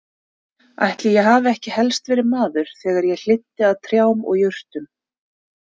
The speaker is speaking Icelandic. Ætli ég hafi ekki helst verið maður þegar ég hlynnti að trjám og jurtum.